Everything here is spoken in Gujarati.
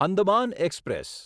અંદમાન એક્સપ્રેસ